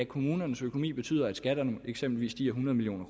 kommunernes økonomi betyder at skatterne eksempelvis stiger hundrede million